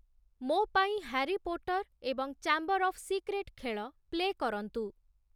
ମୋ ପାଇଁ Harry Potter ଏବଂ ଚାମ୍ବର୍ ଅଫ୍ ସିକ୍ରେଟ୍‌ ଖେଳ ପ୍ଲେ କରନ୍ତୁ